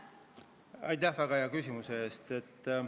Aitäh väga hea küsimuse eest!